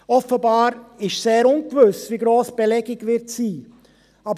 Offenbar ist sehr ungewiss, wie hoch die Belegung sein wird.